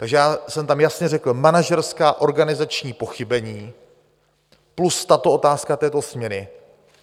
Takže já jsem tam jasně řekl: manažerská, organizační pochybení plus tato otázka této směny.